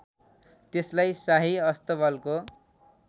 त्यसलाई शाही अस्तबलको